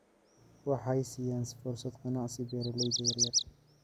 Waxay siiyaan fursado ganacsi beeralayda yaryar.